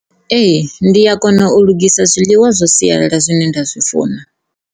Ee, ndi a kona u lugisa zwiḽiwa zwa sialala zwine nda zwi funa.